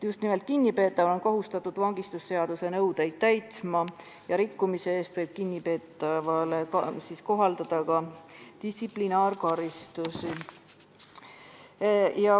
Just nimelt kinnipeetav on kohustatud vangistusseaduse nõudeid täitma ja rikkumise eest võib kinnipeetavale kohaldada distsiplinaarkaristusi.